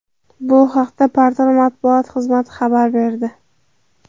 Bu haqda portal matbuot xizmati xabar berdi .